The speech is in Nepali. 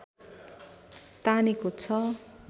तानेको छ